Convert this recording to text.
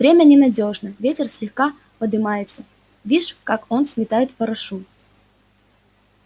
время ненадёжно ветер слегка подымается вишь как он сметает порошу